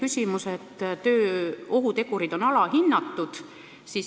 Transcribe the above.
Esimene teema: töö ohutegurid on alahinnatud.